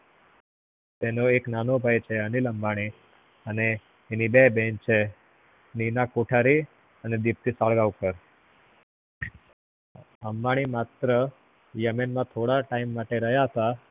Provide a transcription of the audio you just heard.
એનો એક નાનો ભાઈ છે અનીલ અંબાની અને એની બે બેન છે નીના કોઠારી અને દીપ્તિ સલ્ગોન્કાર અંબાની માત્ર yamen માં થોડા time માટે રહ્યા તા